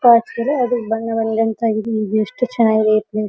ಫೆಕ್ಸ್ ಇದೆ ಅದು ಬಣ್ಣದಲ್ಲಿ ಲೆಂಥ್ ಆಗಿದೆ ಇದು ಎಷ್ಟು ಚನ್ನಾಗಿದೆ ಪ್ಲೇಸ್ .